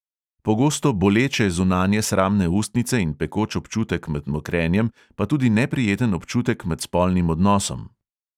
Pogosto boleče zunanje sramne ustnice in pekoč občutek med mokrenjem, pa tudi neprijeten občutek med spolnim odnosom.